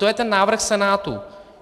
To je ten návrh Senátu.